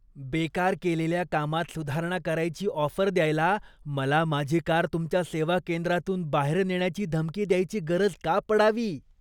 बेकार केलेल्या कामावर कारवाई करायची ऑफर द्यायला, मला माझी कार तुमच्या सेवा केंद्रातून बाहेर नेण्याची धमकी द्यायची गरज का पडावी?